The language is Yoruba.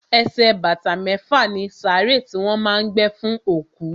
Ẹsẹ̀ bàtà mẹ́fà ni sàárè tí wọ́n má a ń gbé fún òkú.